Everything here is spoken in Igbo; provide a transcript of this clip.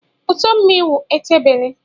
Uto mmii wu ete bele.